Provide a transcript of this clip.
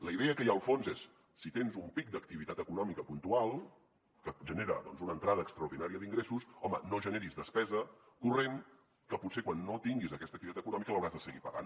la idea que hi ha al fons és si tens un pic d’activitat econòmica puntual que et genera doncs una entrada extraordinària d’ingressos home no generis despesa corrent que potser quan no tinguis aquesta activitat econòmica l’hauràs de seguir pagant